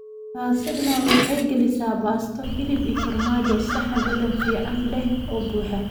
Lasagna waxay gelisaa baasto, hilib iyo farmaajo saxan dhadhan fiican leh oo buuxa.